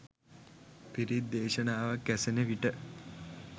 පිරිත් දේශනාවක් ඇසෙන විට